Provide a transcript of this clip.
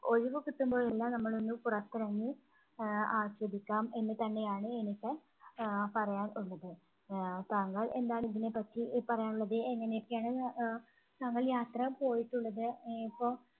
ഒഴിവു കിട്ടുമ്പോൾ എല്ലാം നമ്മൾ ഒന്ന് പുറത്തിറങ്ങി ആഹ് ആസ്വദിക്കാം എന്ന് തന്നെയാണ് എനിക്ക് ആഹ് പറയാൻ ഉള്ളത്. ആഹ് താങ്കൾ എന്താണ് ഇതിനെപ്പറ്റി പറയാനുള്ളത്? എങ്ങനെയൊക്കെയാണ് അഹ് താങ്കൾ യാത്ര പോയിട്ടുള്ളത്? ആഹ് ഇപ്പോൾ